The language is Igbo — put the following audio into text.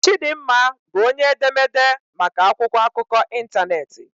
Chidinma bụ onye edemede maka akwụkwọ akụkọ ịntanetị.